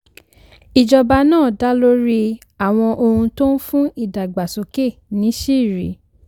ìjọba náà dá lórí àwọn ohun tó ń fún ìdàgbàsókè níṣìírí.